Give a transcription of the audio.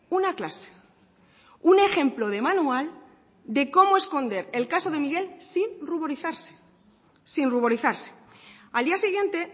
una clase un ejemplo de manual de cómo esconder el caso de miguel sin ruborizarse sin ruborizarse al día siguiente